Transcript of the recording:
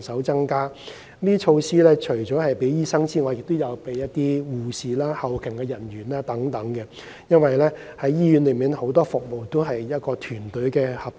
這些措施除了針對醫生，還會針對護士和後勤人員，因為醫院內很多服務都需要團隊合作。